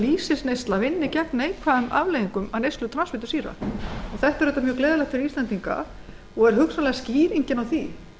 lýsisneysla vinni gegn neikvæðum afleiðingum af neyslu transfitusýra það er auðvitað mjög gleðilegt fyrir íslendinga og er hugsanlega skýringin á því